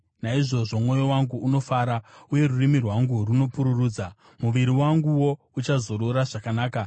Naizvozvo mwoyo wangu unofara uye rurimi rwangu runopururudza; muviri wanguwo uchazorora zvakanaka,